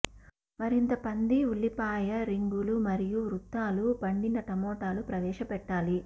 మరింత పంది ఉల్లిపాయ రింగులు మరియు వృత్తాలు పండిన టమోటాలు ప్రవేశపెట్టాలి